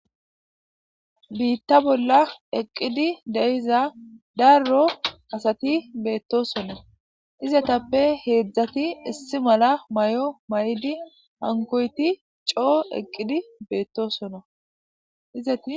biitta bolla eqqidi deyiza darro asati beettosonna izetappe heedzdzati issi mala may7o may7idi hankoyti coo eqqidi beettosonaizei